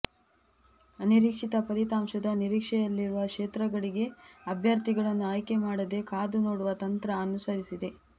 ಅನಿರೀಕ್ಷಿತ ಫಲಿತಾಂಶದ ನಿರೀಕ್ಷೆಯಲ್ಲಿರುವ ಕ್ಷೇತ್ರಗಳಿಗೆ ಅಭ್ಯರ್ಥಿಗಳನ್ನು ಆಯ್ಕೆ ಮಾಡದೆ ಕಾದು ನೋಡುವ ತಂತ್ರ ಅನುಸರಿಸಿದೆ